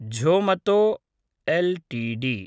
Zomato LTD